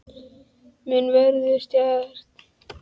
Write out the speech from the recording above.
Mun Hörður stjana við Hannes næstu dagana eftir vörsluna?